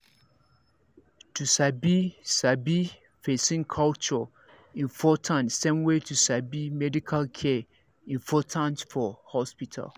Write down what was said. to sabi sabi person culture important same way to sabi medical care important for hospital